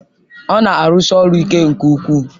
Ọ na-arụsi ọrụ ike nke ukwuu